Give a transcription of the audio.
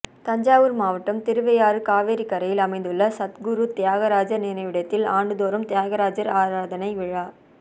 தஞ்சாவூர் மாவட்டம் திருவையாறு காவிரி கரையில் அமைந்துள்ள சத்குரு தியாகராஜர் நினைவிடத்தில் ஆண்டுதோறும் தியாகராஜர் ஆராதனை விழா